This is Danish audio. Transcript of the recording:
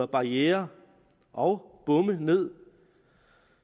barrierer og bomme ned